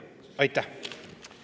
Aitäh!